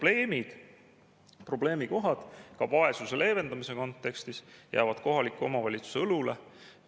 Need probleemid, ka vaesuse leevendamise kontekstis, jäävad kohaliku omavalitsuse õlule.